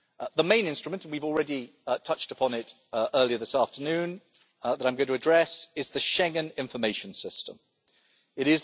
The main instrument, we have already touched upon it earlier this afternoon, that I am going to address, is the Schengen Information System It